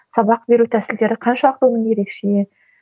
сабақ беру тәсілдері қаншалықты оның ерекше